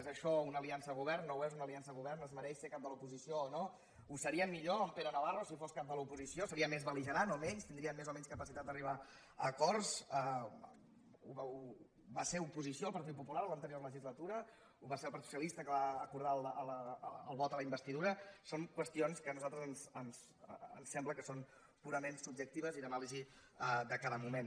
és això una aliança de govern no ho és una aliança de govern es mereix ser cap de l’oposició o no ho seria millor en pere navarro si fos cap de l’oposició seria més bel·ligerant o menys tindria més o menys capacitat d’arribar a acords va ser oposició el partit popular a l’anterior legislatura ho va ser el partit socialista que va acordar el vot a la investidura són qüestions que a nosaltres ens sembla que són purament subjectives i d’anàlisi de cada moment